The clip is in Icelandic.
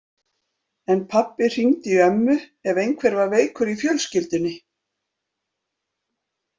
En pabbi hringdi í ömmu ef einhver var veikur í fjölskyldunni.